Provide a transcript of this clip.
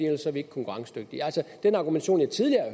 ellers er vi ikke konkurrencedygtige den argumentation jeg tidligere